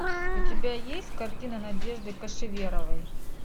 у тебя есть картина надежды кашеверовой